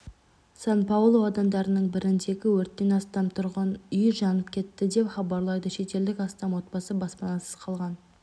сан-паулу аудандарының біріндегі өрттен астам тұрғын үй жанып кетті деп хабарлайды шетелдік астам отбасы баспанасыз қалған